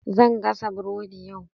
Zan gasa burodi yau.